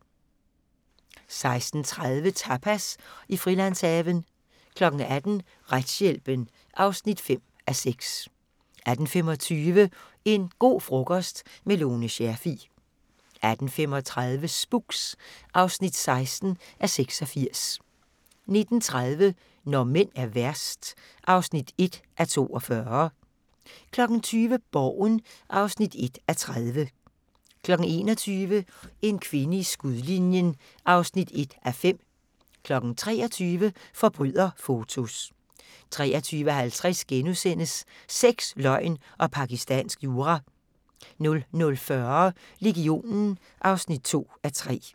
16:30: Tapas i Frilandshaven 18:00: Retshjælpen (5:6) 18:25: En go' frokost– med Lone Scherfig 18:35: Spooks (16:86) 19:30: Når mænd er værst (1:42) 20:00: Borgen (1:30) 21:00: En kvinde i skudlinjen (1:5) 23:00: Forbryderfotos 23:50: Sex, løgn og pakistansk jura * 00:40: Legionen (2:3)